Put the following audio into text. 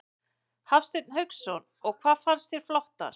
Hafsteinn Hauksson: Og hvað fannst þér flottast?